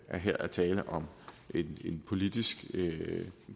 her er tale om en politisk